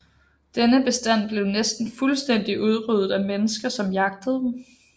Denne bestand blev næsten fuldstændigt udryddet af mennesker som jagtede dem